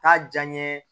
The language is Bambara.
K'a diya n ye